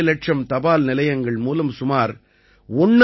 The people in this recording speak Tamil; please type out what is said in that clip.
5 லட்சம் தபால் நிலையங்கள் மூலம் சுமார் 1